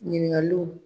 Ɲininkaliw